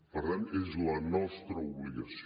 per tant és la nostra obligació